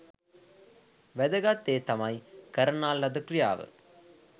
වෑදගත් දේ තමයි කරනා ලද ක්‍රියාව